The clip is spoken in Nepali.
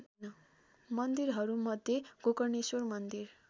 मन्दिरहरूमध्ये गोकर्णेश्वर मन्दिर